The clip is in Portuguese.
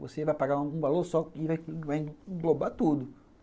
Você vai pagar um valor só que vai englobar tudo.